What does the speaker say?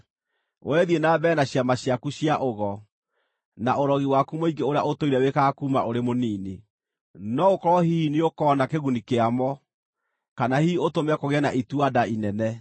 “Wee thiĩ na mbere na ciama ciaku cia ũgo, na ũrogi waku mũingĩ ũrĩa ũtũire wĩkaga kuuma ũrĩ mũnini. No gũkorwo hihi nĩũkona kĩguni kĩa mo, kana hihi ũtũme kũgĩe na itua-nda inene.